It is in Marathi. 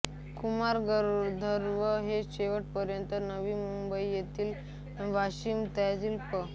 कुमार गंधर्व हे शेवटपर्यंत नवी मुंबई येथील वाशीतल्या पं